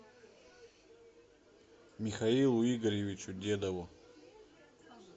михаилу игоревичу дедову